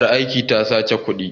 Ƴar aikin ta sace kuɗin.